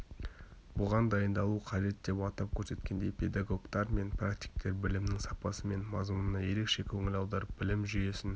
бұған дайындалу қажет деп атап көрсеткендей педагогтар мен практиктер білімнің сапасы мен мазмұнына ерекше көңіл аударып білім жүйесін